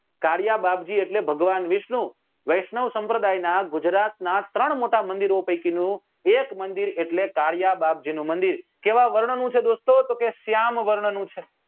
કાળીયા બાપજી એટલે ભગવાન વિષ્ણુ વૈષ્ણવ સંપ્રદાય નાં ગુજરાત ના ત્રણ મોટા મંદિરો પૈકી નું એક મંદિર એટલે કાળીયા બાપજી નું મંદિર કેવા વર્ણ નું છે દોસ્તો તો કે શ્યામ વર્ણ નું છે